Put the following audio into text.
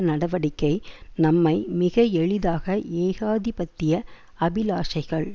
நடவடிக்கை நம்மை மிக எளிதாக ஏகாதிபத்திய அபிலாஷைகள்